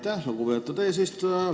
Aitäh, lugupeetud eesistuja!